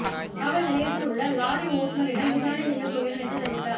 காவல் நிலையத்தில் உள்ள லாரி ஓட்டுனரிடம் விசாரணை செய்யப் போகிறேன் என்று தெரிவித்தார்